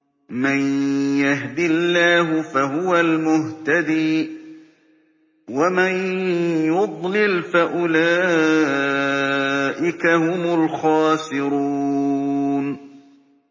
مَن يَهْدِ اللَّهُ فَهُوَ الْمُهْتَدِي ۖ وَمَن يُضْلِلْ فَأُولَٰئِكَ هُمُ الْخَاسِرُونَ